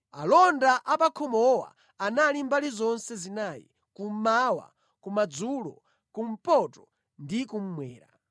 Alonda apakhomowa anali mbali zonse zinayi: kummawa, kumadzulo, kumpoto ndi kummwera.